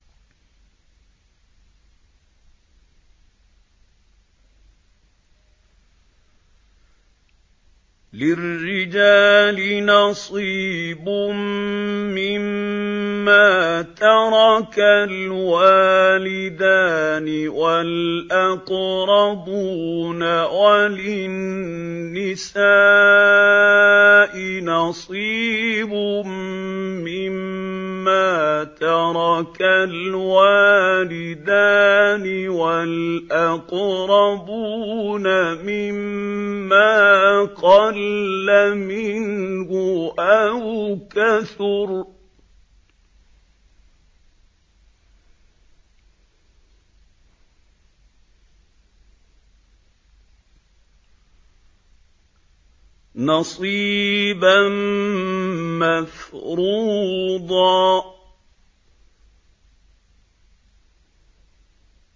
لِّلرِّجَالِ نَصِيبٌ مِّمَّا تَرَكَ الْوَالِدَانِ وَالْأَقْرَبُونَ وَلِلنِّسَاءِ نَصِيبٌ مِّمَّا تَرَكَ الْوَالِدَانِ وَالْأَقْرَبُونَ مِمَّا قَلَّ مِنْهُ أَوْ كَثُرَ ۚ نَصِيبًا مَّفْرُوضًا